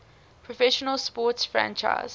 professional sports franchise